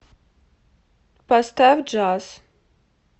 поставь джаз